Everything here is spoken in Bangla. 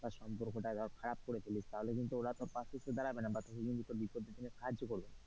বা সম্পর্কটা আবার খারাপ করে ফেলিস তাহলে কিন্তু ওরা পাশে আসে দাঁড়াবে না বা তোকে কিন্তু তোর বিপদের দিনে সাহায্য করবে না।